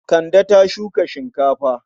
Kande ta shuka shinkafa.